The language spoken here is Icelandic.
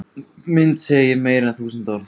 Mynd segir meira en þúsund orð